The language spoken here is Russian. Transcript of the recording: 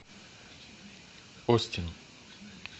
остин